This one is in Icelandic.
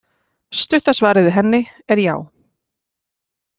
Stutta svarið við henni er já.